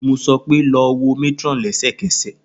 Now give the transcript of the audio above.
Mo sọ pe, lọ wo matron lẹsẹkẹsẹ!